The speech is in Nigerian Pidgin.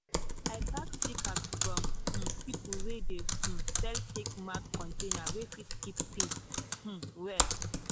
i pack sticker from um people wey dey um sell take mark container wey fit keep tings um well.